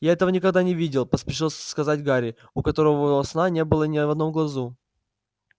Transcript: я этого никогда не видел поспешил сказать гарри у которого сна не было ни в одном глазу